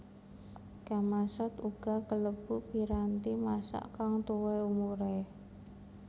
Gamasot uga kalebu piranti masak kang tuwa umuré